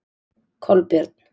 Kolbjörn